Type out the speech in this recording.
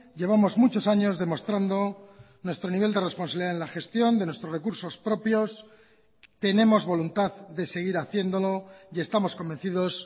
llevamos muchos años demostrando nuestro nivel de responsabilidad en la gestión de nuestros recursos propios tenemos voluntad de seguir haciéndolo y estamos convencidos